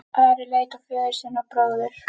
Ari leit á föður sinn og bróður.